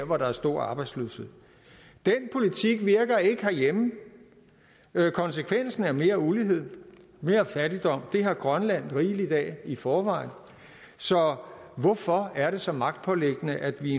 hvor der er stor arbejdsløshed den politik virker ikke herhjemme konsekvensen er mere ulighed mere fattigdom det har grønland rigeligt af i forvejen så hvorfor er det så magtpåliggende at vi i